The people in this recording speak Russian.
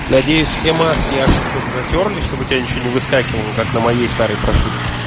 надеюсь все маски ошибок затёрли чтобы у тебя ничего не выскакивала как на моей старой